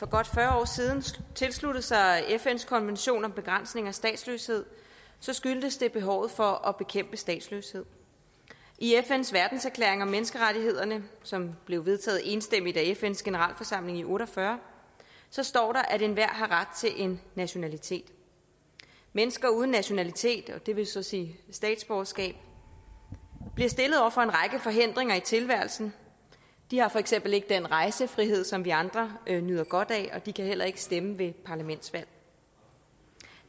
godt fyrre år siden tilsluttede sig fns konvention om begrænsning af statsløshed skyldtes det behovet for at bekæmpe statsløshed i fns verdenserklæring om menneskerettighederne som blev vedtaget enstemmigt af fns generalforsamling i nitten otte og fyrre står der at enhver har ret til en nationalitet mennesker uden nationalitet og det vil så sige statsborgerskab bliver stillet over for en række forhindringer i tilværelsen de har for eksempel ikke den rejsefrihed som vi andre nyder godt af og de kan heller ikke stemme ved parlamentsvalg